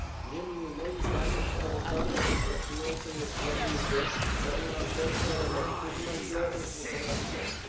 Niemniej moim zdaniem sprawozdanie o tym traktujące jest za długie, zawiera zbędne elementy i ma źle rozłożone akcenty.